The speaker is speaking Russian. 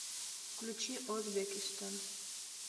включи озбекистон